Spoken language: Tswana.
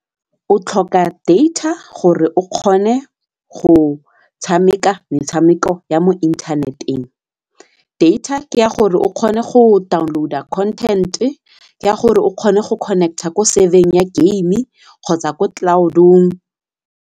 O tlhoka data gore o kgone go tshameka metshameko ya mo internet-eng, data ke ya gore o kgone go download-a content-e, ke ya gore o kgone go connect-a ko server-eng ya game kgotsa ko cloud-ong.